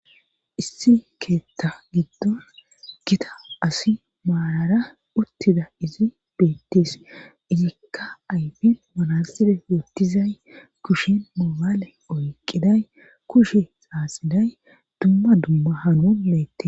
issi keettha giddon gita asi maarara uttida izi beettis izikka ayfin manasire yotizay kushen mobaale oyqiday kushe xaaxiday dumma dumma hanon beette